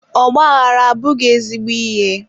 ọgbaaghara abụghị ezigbo ihe.